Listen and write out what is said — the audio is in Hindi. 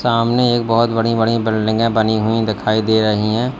सामने एक बहोत बड़ी बड़ी बिल्डिंगे बनी हुई दिखाई दे रही हैं।